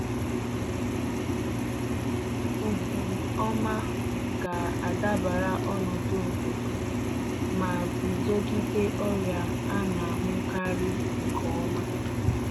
Ụdị ọma ga-adabara ọnọdụ obodo ma guzogide ọrịa a na-ahụkarị nke ọma.